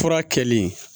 Fura kɛlen